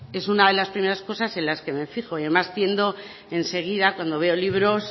es una de las primeras cosas en las que me fijo y además tiendo en seguida cuando veo libros